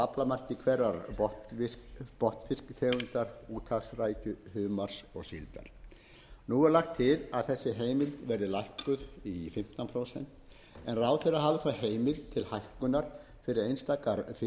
prósent af aflamarki hverrar botnfisktegundar úthafsrækju humars og síldar nú er lagt til að þessi heimild verði lækkuð í fimmtán prósent en ráðherra hafi þó heimild til hækkunar fyrir einstakar fisktegundir séu